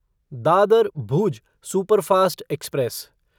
Dadar Bhuj superfast express